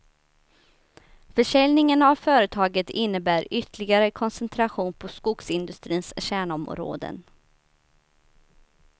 Försäljningen av företaget innebär ytterligare koncentration på skogsindustrins kärnområden.